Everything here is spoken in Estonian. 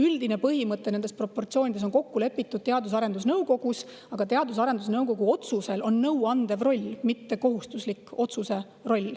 Nende proportsioonide üldine põhimõte on kokku lepitud Teadus‑ ja Arendusnõukogus, aga Teadus‑ ja Arendusnõukogul on nõuandev roll, selle otsused pole kohustuslikud.